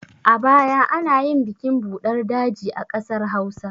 A baya anayin bikin buɗar daji a ƙasar hausa